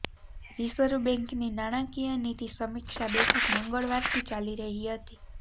reserve બેંકની નાણાકીય નીતિ સમીક્ષા બેઠક મંગળવારથી ચાલી રહી હતી